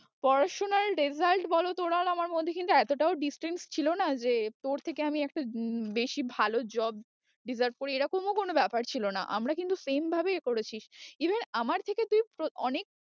পড়াশোনার result বল তোর আর আমার মধ্যে কিন্তু এতটাও distance ছিল না যে তোর থেকে আমি একটা বেশি ভালো job deserve করি, এরকমও কোনো ব্যাপার ছিল না। আমরা কিন্তু same ভাবেই করেছি even আমার থেকে